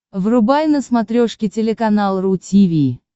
врубай на смотрешке телеканал ру ти ви